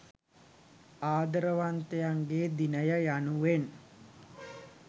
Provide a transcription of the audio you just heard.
ආදරවන්තයන්ගේ දිනය යනුවෙන්